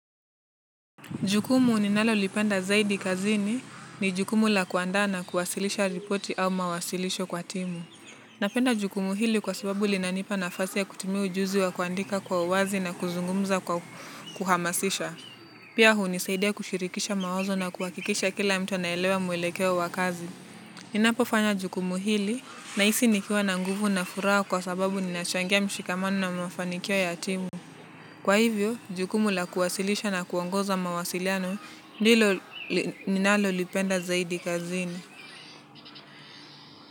Jukumu ninalolipenda zaidi kazini ni jukumu la kuandaa na kuwasilisha ripoti au mawasilisho kwa timu. Napenda jukumu hili kwa sababu linanipa nafasi ya kutimia ujuzi wa kuandika kwa uwazi na kuzungumza kwa kuhamasisha. Pia hunisaidia kushirikisha mawazo na kuhakikisha kila mtu anaelewa mwelekeo wa kazi. Ninapo fanya jukumu hili nahisi nikiwa na nguvu na furaha kwa sababu nina changia mshikamano na mafanikio ya timu. Kwa hivyo, jukumu la kuwasilisha na kuongoza mawasiliano ndilo ninalo lipenda zaidi kazini.